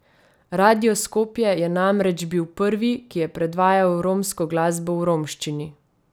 Radio Skopje je namreč bil prvi, ki je predvajal romsko glasbo v romščini.